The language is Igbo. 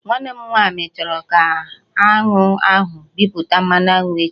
Nwanne m nwaanyị chọrọ ka aṅụ ahụ mịpụta mmanụ aṅụ echi